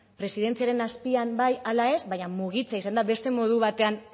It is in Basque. presidentziaren azpian bai ala ez baina mugitzea izan da beste modu batean